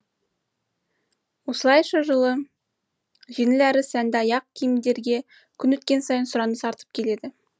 осылайша жылы жеңіл әрі сәнді аяқ киімдерге күн өткен сайын сұраныс артып келеді